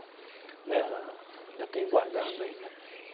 Né ah ainda tenho guardado ainda.